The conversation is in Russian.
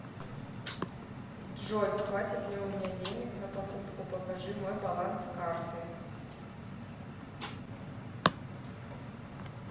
джой хватит ли у меня денег на покупку покажи мой баланс карты